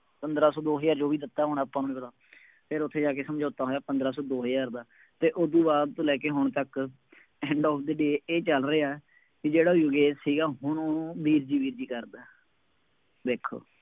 ਪੰਦਰਾ ਸੌ, ਦੋ ਹਜ਼ਾਰ ਜੋ ਵੀ ਦਿੱਤਾ ਹੋਣਾ ਆਪਾਂ ਨੂੰ ਨਹੀਂ ਪਤਾ, ਫੇਰ ਉੱਥੇ ਜਾ ਕੇ ਸਮਝੋਤਾ ਹੋਇਆ ਪੰਦਰਾਂ ਸੌ, ਦੋ ਹਜ਼ਾਰ ਦਾ ਅਤੇ ਉਹਦੂ ਬਾਅਦ ਤੋਂ ਲੈ ਕੇ ਹੁਣ ਤੱਕ end of the day ਇਹ ਚੱਲ ਰਿਹਾ ਕਿ ਜਿਹੜਾ ਯੋਗੇਸ਼ ਸੀਗਾ ਹੁਣ ਉਹਨੂੰ, ਵੀਰ ਵੀਰ ਜੀ ਕਰਦਾ, ਦੇਖੋ